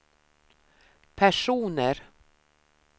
personer